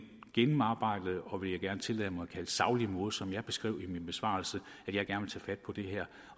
gennemarbejdede og vil jeg gerne tillade mig at kalde det saglige måde som jeg beskrev i min besvarelse